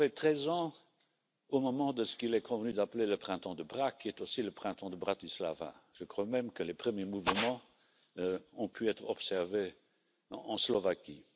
J'avais treize ans au moment de ce qu'il est convenu d'appeler le printemps de Prague, qui est aussi le printemps de Bratislava je crois même que les premiers mouvements ont pu être observés en Slovaquie.